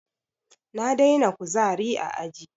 Na daina kuzari a aji